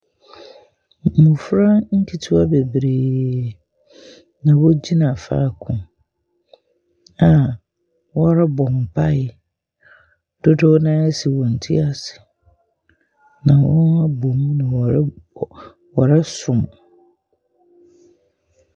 Mmofra nketewa beberee na wogyina faako, ɛna wɔrebɔ mpae. Dodo no ara asi wɔn tiri ase, na wɔabɔ mu na wɔreb wɔresom.